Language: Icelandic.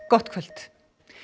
gott kvöld